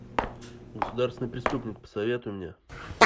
государственный преступник посоветуй мне